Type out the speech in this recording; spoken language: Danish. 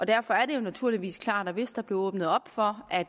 derfor naturligvis klart at der hvis der blev åbnet op for at